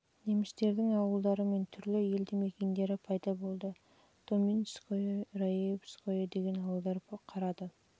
немістердің ауылдары мен түрлі елді-мекендері пайда болды доминское және раевское деген ауылдар қарады